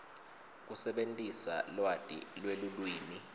kusebentisa lwati lwelulwimi